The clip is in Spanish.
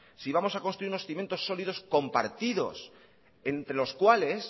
si vamos a construir unos cimientos sólidos compartidos entre los cuales